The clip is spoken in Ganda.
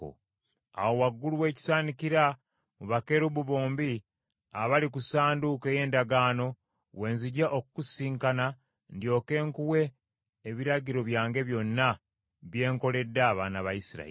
Awo waggulu w’ekisaanikira, mu bakerubi bombi abali ku Ssanduuko ey’Endagaano, we nzija okukusisinkana ndyoke nkuwe ebiragiro byange byonna bye nkoledde abaana ba Isirayiri.